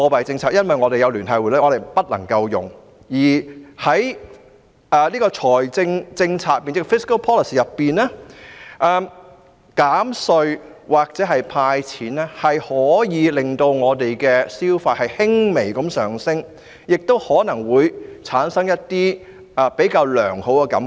這是因為我們有聯繫匯率，所以不能使用利率和貨幣政策，而在財政政策上，減稅或"派錢"可以令市民的消費意欲輕微上升，亦可能會令人產生比較良好的感覺。